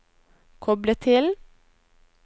koble til